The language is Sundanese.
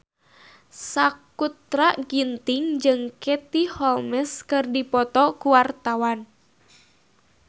Sakutra Ginting jeung Katie Holmes keur dipoto ku wartawan